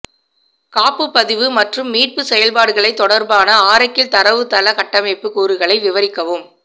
காப்புப்பதிவு மற்றும் மீட்பு செயல்பாடுகளை தொடர்பான ஆரக்கிள் தரவுத்தள கட்டமைப்பு கூறுகளை விவரிக்கவும்